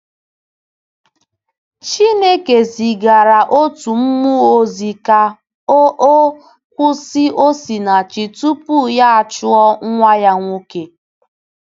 Chineke zigara otu mmụọ ozi ka o o kwụsị Osinachi tupu ya achụ nwa ya nwoke.